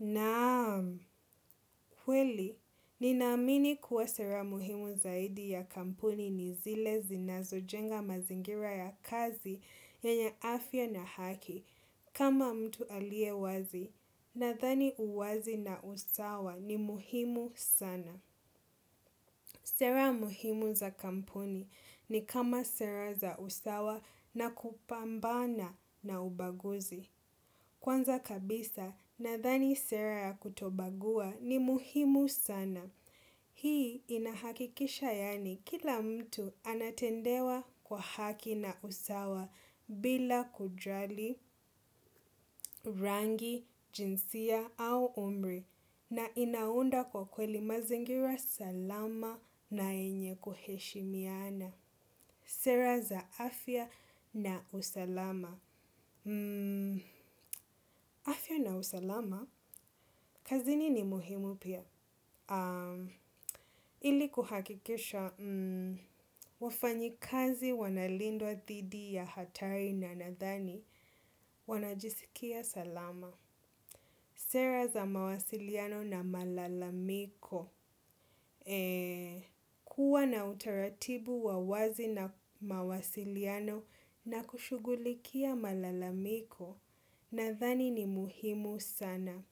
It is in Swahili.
Naam, kweli, ninaamini kuwa sera muhimu zaidi ya kampuni ni zile zi na zojenga mazingira ya kazi yenye afya na haki kama mtu aliye wazi na thani uwazi na usawa ni muhimu sana. Sera muhimu za kampuni ni kama sera za usawa na kupambana na ubaguzi. Kwanza kabisa na thani sera ya kutobagua ni muhimu sana. Hii inahakikisha yaani kila mtu anatendewa kwa haki na usawa bila kujali, rangi, jinsia au umri na inaunda kwa kweli mazingira salama na yenye kuheshi miana. Sera za afya na usalama. Afya na usalama? Kazini ni muhimu pia. Ilikuhakikisha wafanyikazi wanalindwa thidi ya hatari na nadhani wanajisikia salama. Sera za mawasiliano na malalamiko. Kuwa na utaratibu wa wazi na mawasiliano na kushugulikia malalamiko na thani ni muhimu sana.